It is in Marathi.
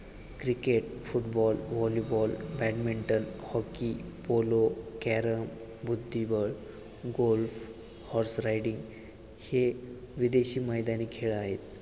Cricket, football, volleyball, badminton, hockey, polo, carrom, बुद्धिबळ, गोल, हॉर्स रायडिंग हे विदेशी मैदानी खेळ आहेत.